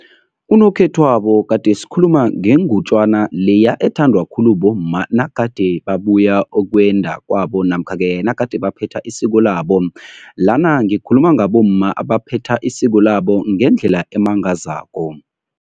Unokhethwabo gade sikhuluma ngengutjana leya ethandwa khulu bomma nagade babuya ukwenda kwabo namkha-ke nagade baphethe isiko labo. Lana ngikhuluma ngabomma abaphetha isiko labo ngendlela emangazako.